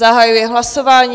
Zahajuji hlasování.